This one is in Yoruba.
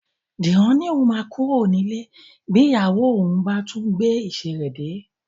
Dìran ni òun máa kúrò nílé bí ìyàwó òun bá tún ti gbé ìṣe rẹ dé